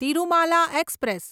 Tirumala express